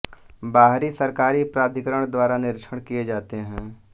बाहरी सरकारी प्राधिकरण द्वारा निरीक्षण किए जाते हैं